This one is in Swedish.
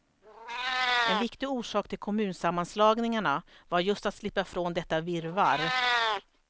En viktig orsak till kommunsammanslagningarna var just att slippa från detta virrvarr.